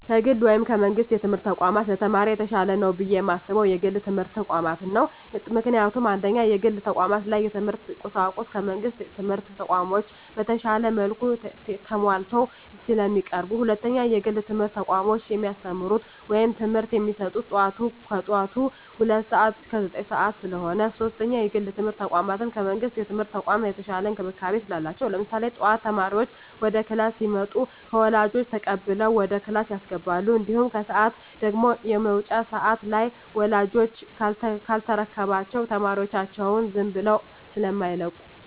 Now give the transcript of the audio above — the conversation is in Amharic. ከግል ወይም ከመንግስት የትምህርት ተቋማት ለተማሪ የተሻለ ነው ብየ የማስበው የግል የትምህርት ተቋማትን ነው። ምክንያቱም፦ 1ኛ, የግል ተቋማት ላይ የትምህርት ቁሳቁሱ ከመንግስት ትምህርት ተቋማቶች በተሻለ መልኩ ተማሟልተው ስለሚቀርቡ። 2ኛ, የግል የትምህርት ተቋሞች የሚያስተምሩት ወይም ትምህርት የሚሰጡት ከጠዋቱ ሁለት ሰዓት እስከ ዘጠኝ ሰዓት ስለሆነ። 3ኛ, የግል የትምርት ተቋም ከመንግስት የትምህርት ተቋም የተሻለ እንክብካቤ ስላላቸው። ለምሳሌ ጠዋት ተማሪዎች ወደ ክላስ ሲመጡ ከወላጆች ተቀብለው ወደ ክላስ ያስገባሉ። እንዲሁም ከሰዓት ደግሞ የመውጫ ሰዓት ላይ ወላጅ ካልተረከባቸው ተማሪዎቻቸውን ዝም ብለው ስማይለቁ።